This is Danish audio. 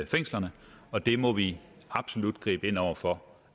fængslerne og det må vi absolut gribe ind over for